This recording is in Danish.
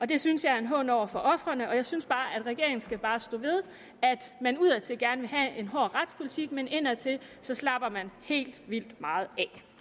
det synes jeg er en hån over for ofrene og jeg synes bare at regeringen skal stå ved at man udadtil gerne vil have en hård retspolitik men indadtil slapper man helt vildt meget